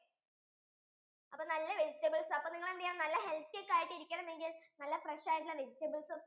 അപ്പൊ നല്ല vegetables അപ്പൊ നിങ്ങൾ എന്ത് ചെയ്യണം നല്ല healthy ഒക്കെ ആയിട്ടു ഇരിക്കണമെങ്കിൽ നല്ല fresh ആയിട്ടുള്ള vegetables ഉം